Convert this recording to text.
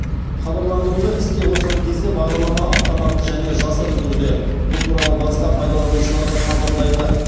хабарландыруды іске қосқан кезде бағдарлама автоматты және жасырын түрде бұл туралы басқа пайдаланушыларға хабарлайды